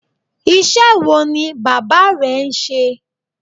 Iṣẹ́ wo ni bàbá rẹ ń ṣe?